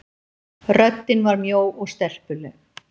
Röddin var mjó og stelpuleg.